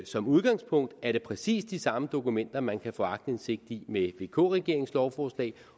som udgangspunkt er det præcis de samme dokumenter man kan få aktindsigt i med vk regeringens lovforslag